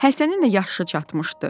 Həsənin də yaşı çatmışdı.